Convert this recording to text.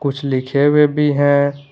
कुछ लिखे हुए भी हैं।